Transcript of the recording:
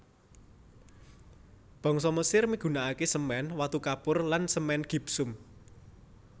Bangsa Mesir migunakaké semèn watu kapur lan semèn gipsum